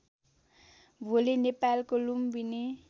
भोलि नेपालको लुम्बिनी